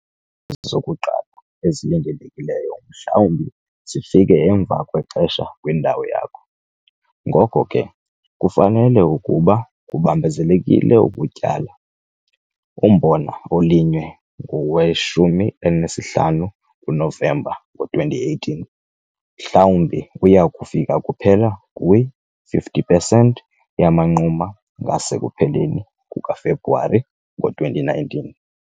Zokuqala ezilindelekileyo mhlawumbi zifike emva kwexesha kwindawo yakho, ngoko ke kufanele ukuba kubambezelekile ukutyala. Umbona olinywe ngowe-15 kuNovemba ngo-2018 mhlawumbi uya kufika kuphela kwi 50 pesenti yamanquma ngasekupheleni kukaFebruwari ngo-2019.